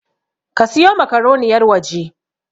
A siyo makaroni yarwaje!